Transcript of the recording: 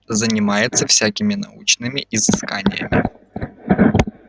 занимается всякими научными изысканиями